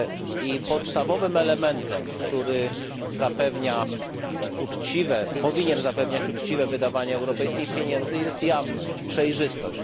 I podstawowym elementem, który zapewnia uczciwe powinien zapewniać uczciwe wydawanie europejskich pieniędzy, jest jawność, przejrzystość.